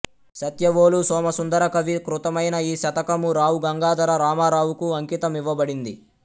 సత్యవోలు సోమసుందరకవి కృతమైన ఈ శతకము రావుగంగాధర రామారావుకు అంకితమివ్వబడింది